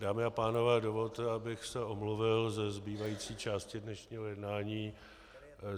Dámy a pánové, dovolte abych se omluvil ze zbývající části dnešního jednání.